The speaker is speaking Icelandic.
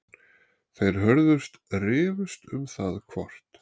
Þeir Hörður rifust um það hvort